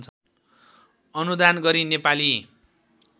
अनुदान गरी नेपाली